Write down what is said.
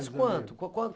Mas quanto quanto?